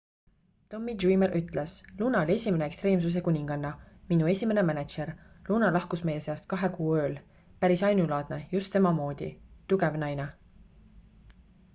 tommy dreamer ütles luna oli esimene ekstreemsuse kuninganna minu esimene mänedžer luna lahkus meie seast kahe kuu ööl päris ainulaadne just tema moodi tugev naine